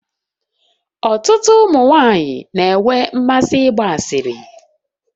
Ọtụtụ ụmụ nwanyị na-enwe mmasị ịgba asịrị.